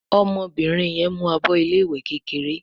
ọmọbìnrin yén mú àbọ ilé ìwé kékeré